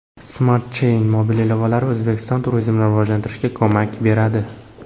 Smart Chain mobil ilovalari O‘zbekistonda turizmni rivojlantirishga ko‘mak beradi.